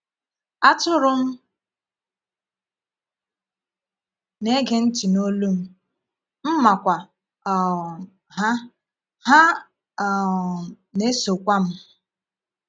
Atụrụ m na-ege ntị n’olu m, m makwa um ha, ha um na-esokwa m.